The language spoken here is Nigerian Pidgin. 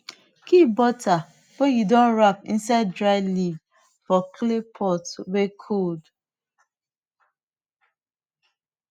keep butter wey you don wrap inside dry leaf for clay pot wey cold